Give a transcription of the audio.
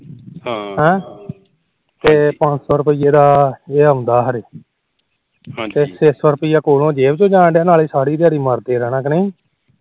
ਤੇ ਪੰਜ ਸੋ ਰੁਪੀਏ ਦਾ ਇਹ ਆਉਂਦਾ ਤੇ ਛੇ ਸੋ ਰੁਪੀਆ ਜੇਬ ਚੋ ਜਾਣਡ ਰਿਹਾ ਨਾਲੇ ਸਾਰੀ ਦਿਹਾੜੀ ਮਰਦੇ ਰਹਿਣਾ ਕ ਨਹੀ